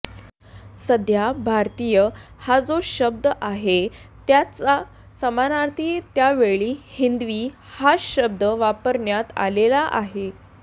सध्या भारतीय हा जो शब्द आहे त्याच्या समानार्थी त्यावेळी हिंदवी हा शब्द वापरण्यात आलेला आहे